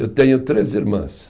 Eu tenho três irmãs.